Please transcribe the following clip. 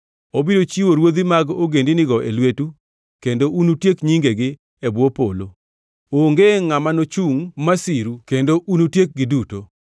Obiro chiwo ruodhi mag ogendinigo e lwetu kendo unutiek nyingegi e bwo polo. Onge ngʼama nochungʼ masiru kendo unutiekgi duto.